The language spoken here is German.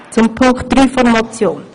Zum dritten Punkt der Motion.